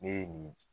Ne ye nin